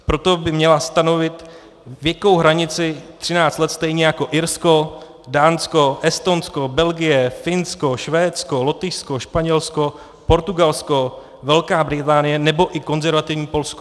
Proto by měla stanovit věkovou hranici 13 let stejně jako Irsko, Dánsko, Estonsko, Belgie, Finsko, Švédsko, Lotyšsko, Španělsko, Portugalsko, Velká Británie nebo i konzervativní Polsko.